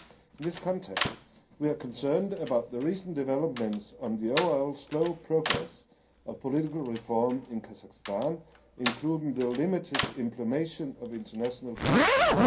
In this context, we are concerned about the recent developments and the overall slow progress of political reform in Kazakhstan, including the limited implementation of international commitments.